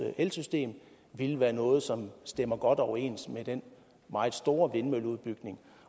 elsystem ville være noget som stemmer godt overens med den meget store vindmølleudbygning